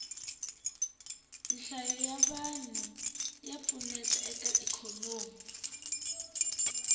nhlayo ya vanhu ya pfuneta eka ikhonomi